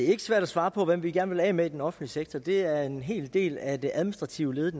ikke svært at svare på hvem vi gerne vil af med i den offentlige sektor det er en hel del af de administrative led